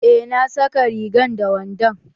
Eh na saka rigan da wandon